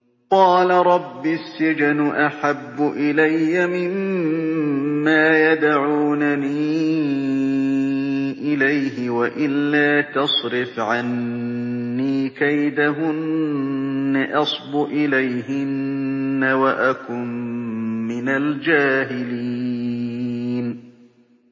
قَالَ رَبِّ السِّجْنُ أَحَبُّ إِلَيَّ مِمَّا يَدْعُونَنِي إِلَيْهِ ۖ وَإِلَّا تَصْرِفْ عَنِّي كَيْدَهُنَّ أَصْبُ إِلَيْهِنَّ وَأَكُن مِّنَ الْجَاهِلِينَ